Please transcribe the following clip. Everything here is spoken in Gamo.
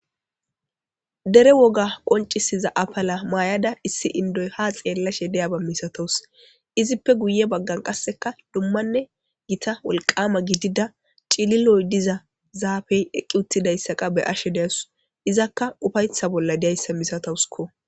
Dere woga qoncisiza apala maayada issi indoy ha xeellashe deyaba misatos izippe guye baggan qasseka dummanne gita wolqama gidida cililoy diza zaafey eqqi uttidayssaqa be ashe deasu izakka ufaytha bolla diyayssa misatawusko.